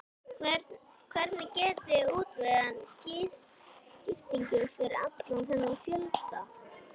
Hvernig getiði útvegað gistingu fyrir allan þennan fjölda?